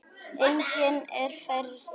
Einnig að fræða aðra.